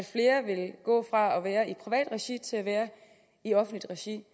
flere vil gå fra at være i privat regi til at være i offentligt regi